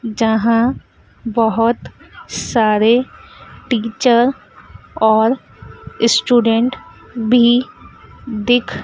जहां बहोत सारे टीचर और ईस्टूडेंट भी दिख--